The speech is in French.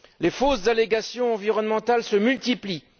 Les fausses allégations environnementales se multiplient.